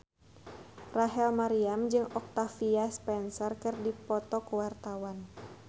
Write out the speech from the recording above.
Rachel Maryam jeung Octavia Spencer keur dipoto ku wartawan